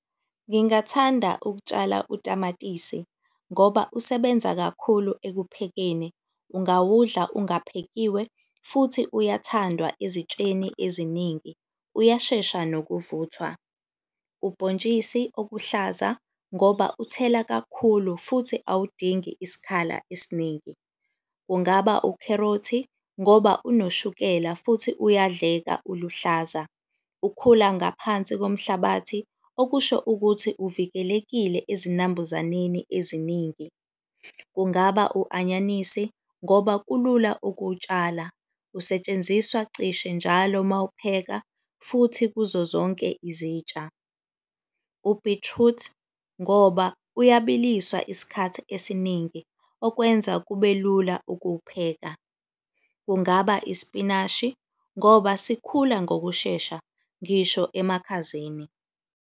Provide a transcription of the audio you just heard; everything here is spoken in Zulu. Ngingathanda ukutshala utamatisi ngoba usebenza kakhulu ekuphekeni. Ungawudlali ungaphekiwe futhi uyathandwa ezitsheni eziningi, uyashesha nokuvuthwa. Ubhontshisi okuhlaza, ngoba uthela kakhulu futhi awudingi isikhala esiningi. Kungaba ukherothi ngoba unoshukela futhi uyadleka uluhlaza. Ukhula ngaphansi komhlabathi, okusho ukuthi uvikelekile ezinambuzaneni eziningi. Kungaba u-anyanisi ngoba kulula ukuwutshala. Usetshenziswa cishe njalo mawupheka futhi kuzo zonke izitsha. U-beetroot ngoba uyabiliswa isikhathi esiningi, okwenza kube lula ukuwupheka. Kungaba isipinashi ngoba sikhula ngokushesha ngisho emakhazeni.